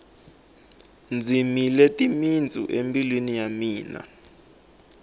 dzimile timitsu embilwini ya mina